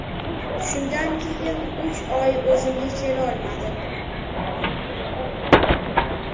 Shundan keyin uch oy o‘zimga kelolmadim.